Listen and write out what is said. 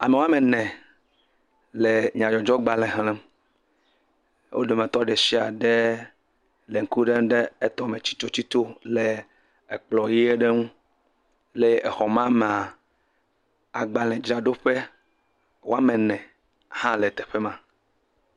Ame woame ene, wole nyadzɔdzɔgbalẽ xlẽm, wo dometɔ ɖe sia ɖe le ŋku lém ɖe etɔ me tsitotsito le ekplɔ ʋe ɖe ŋu, le exɔ ma mea, agbalẽdzraɖoƒe woame ne hã le teƒe ma.